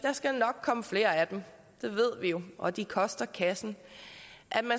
skal nok komme flere af dem det ved vi jo og de koster kassen